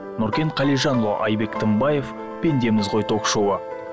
нұркен қалижанұлы айбек тынбаев пендеміз ғой ток шоуы